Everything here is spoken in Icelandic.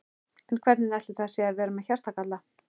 En hvernig ætli það sé að vera með hjartagalla?